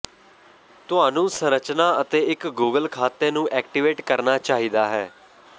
ਤੁਹਾਨੂੰ ਸੰਰਚਨਾ ਅਤੇ ਇੱਕ ਗੂਗਲ ਖਾਤੇ ਨੂੰ ਐਕਟੀਵੇਟ ਕਰਨਾ ਚਾਹੀਦਾ ਹੈ